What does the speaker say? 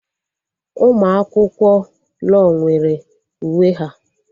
Ụmụ akwụkwọ law nwere uwe ha